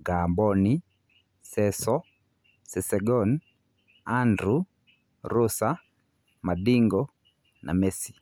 Ngamboni, Ceco, Sesegon, Andrew, Rosa, Mandingo, Mesi.